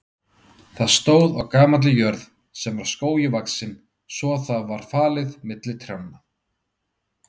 Það stóð á gamalli jörð sem var skógi vaxin svo það var falið milli trjánna.